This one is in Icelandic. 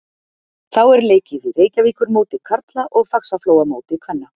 Þá er leikið í Reykjavíkurmóti karla og Faxaflóamóti kvenna.